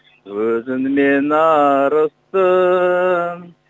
өзіңмен арыстың